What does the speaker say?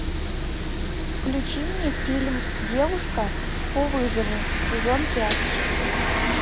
включи мне фильм девушка по вызову сезон пять